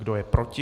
Kdo je proti?